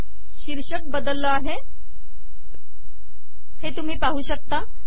शीर्षक बदलले हे तुम्ही पाहू शकता